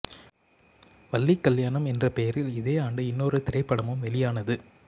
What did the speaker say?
வள்ளி கல்யாணம் என்ற பெயரில் இதே ஆண்டு இன்னொரு திரைப்படமும் வெளியானது